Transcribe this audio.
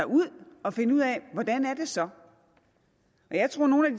ud og finde ud af hvordan er det så jeg tror at nogle